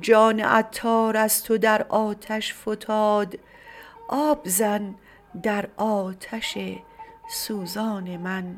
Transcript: جان عطار از تو در آتش فتاد آب زن در آتش سوزان من